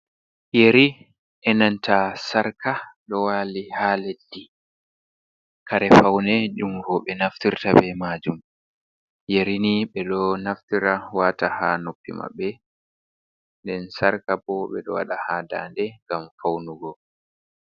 Yeri enanta sarka ɗo wali ha leddi, kare faune ɗum roɓe naftirta ɓe majum, Yeri ni ɓeɗo naftira wata ha noppi maɓɓe, nɗen sarka bo ɓedo wada ha daɗe ngam faunugo.